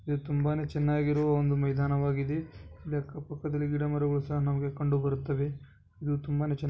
ಇದು ತುಂಬಾನೆ ಚನ್ನಾಗಿರುವ ಒಂದು ಮೈದಾನವಾಗಿದೆ ಅಕ್ಕಪಕ್ಕದಲ್ಲಿ ಗಿದಮರಗಳು ಸಹ ನಮಗೆ ಕಂಡು ಬರುತ್ತವೆ ಇದು ತುಂಬಾನೆ ಚನ್ನಾಗಿ --